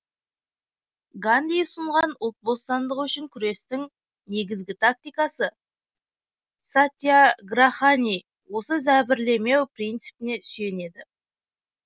ганди ұсынған ұлт бостандығы үшін күрестің негізгі тактикасы сатьяграхани осы зәбірлемеу принципіне сүйенеді